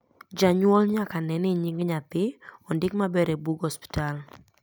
Janyuol nyaka ne ni nying nyathi odik maber e bug osiptal